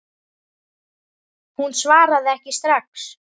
Hún svaraði ekki strax.